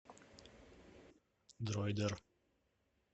дройдер